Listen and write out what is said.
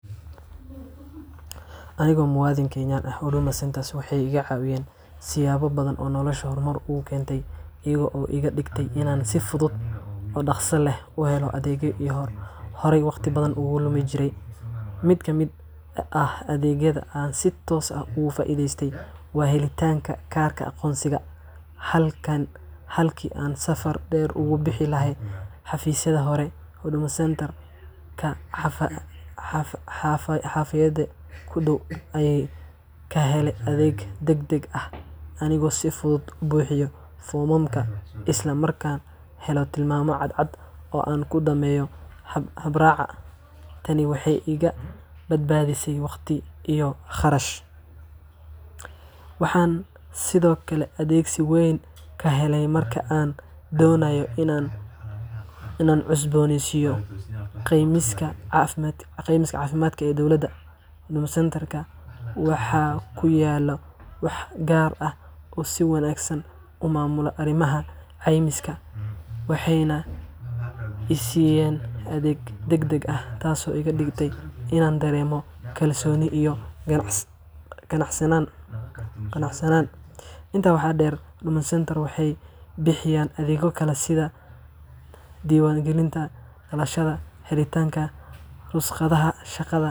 Aniga oo ah muwaadin Kenyan ah, Huduma Centres waxay iga caawiyeen siyaabo badan oo noloshayda horumar u keentay, iyaga oo iga dhigay inaan si fudud oo dhaqso leh u helo adeegyo aan horey waqti badan ugu lumin jiray. Mid ka mid ah adeegyada aan si toos ah uga faa'iideystay waa helitaanka kaarka aqoonsiga. Halkii aan safar dheer ugu bixi lahaa xafiisyadii hore, Huduma Centreka xaafaddayda ku dhow ayaan ka helay adeeg degdeg ah, anigoo si fudud u buuxiyay foomamka, isla markaana helay tilmaamo cadcad oo aan ku dhammeeyo habraaca. Tani waxay iga badbaadisay waqti iyo kharash. Waxaan sidoo kale adeegsi weyn ka helay marka aan doonayay inaan cusbooneysiiyo caymiska caafimaadka ee dowladda. Huduma Centreka waxaa ku yaalla waax gaar ah oo si wanaagsan u maamula arrimaha caymiska, waxayna i siiyeen adeeg degdeg ah, taasoo iga dhigtay inaan dareemo kalsooni iyo qanacsanaan. Intaa waxaa dheer, Huduma Centres waxay bixiyaan adeegyo kale sida diiwaangelinta dhalashada, helitaanka rukhsadaha shaqada.